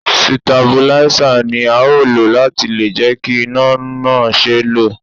Sitabuláísà ni a ó lò láti lè jẹ́ kí iná náà ṣeé lò